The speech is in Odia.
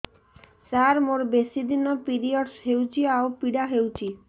ସାର ମୋର ବେଶୀ ଦିନ ପିରୀଅଡ଼ସ ହଉଚି ଆଉ ପୀଡା ହଉଚି